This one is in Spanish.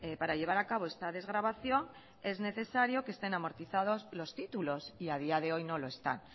para llevar a cabo esta desgravación es necesario que estén amortizados los títulos y a día de hoy no lo están